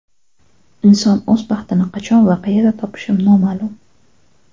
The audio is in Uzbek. Inson o‘z baxtini qachon va qayerda topishi noma’lum.